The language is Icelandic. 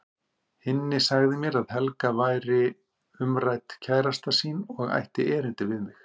Hinni sagði mér að Helga væri umrædd kærasta sín og ætti erindi við mig.